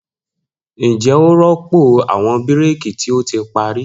Njẹ o rọpo awọn bírékì ti o ti pari?